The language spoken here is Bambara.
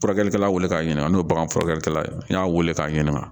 Furakɛlikɛla weele k'a ɲininka n'o ye bagan furakɛ n y'a weele k'a ɲininka